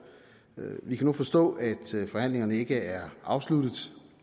vi kan nu forstå at forhandlingerne ikke er afsluttet